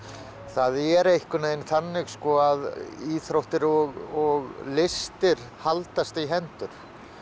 það er einhvern veginn þannig að íþróttir og listir haldast í hendur